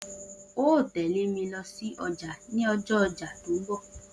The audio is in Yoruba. O óò tè̩lé mi lo̩ sí o̩jà ní o̩jó̩ o̩jà tó ń bò̩